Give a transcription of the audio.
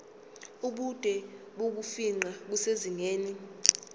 ubude bokufingqa kusezingeni